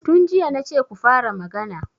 Tun jiya na ce ku fara magana.